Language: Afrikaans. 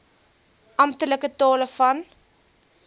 amptelike tale van